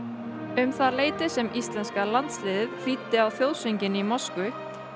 um það leyti sem íslenska landsliðið hlýddi á þjóðsönginn í Moskvu